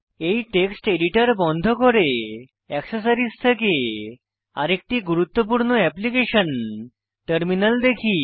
এই text editor বন্ধ করে অ্যাক্সেসরিজ থেকে আরেকটি গুরুত্বপূর্ণ এপ্লিকেশন টার্মিনাল দেখি